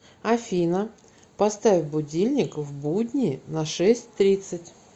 афина поставь будильник в будни на шесть тридцать